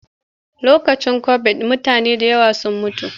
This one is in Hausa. Lokacin kobid mutane da yawa sun mutu.